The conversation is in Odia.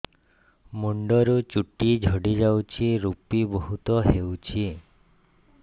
ମୁଣ୍ଡରୁ ଚୁଟି ଝଡି ଯାଉଛି ଋପି ବହୁତ ହେଉଛି